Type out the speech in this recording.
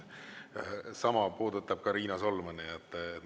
Sama puudutab ka Riina Solmani.